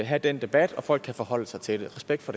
have den debat og folk kan forholde sig til det respekt for